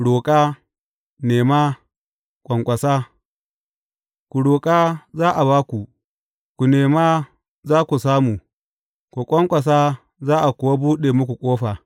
Roƙa, nema, ƙwanƙwasa Ku roƙa za a ba ku; ku nema za ku samu; ku ƙwanƙwasa za a kuwa buɗe muku ƙofa.